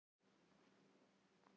Þetta er sannarlega ný öreind.